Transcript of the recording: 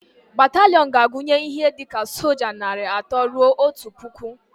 Bataliiọn ga-agunye ihe dika soja narị atọ rue otu pụkụ